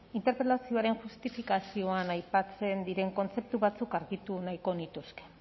interpelazioaren justifikazioan aipatzen diren kontzeptu batzuk argitu nahiko nituzke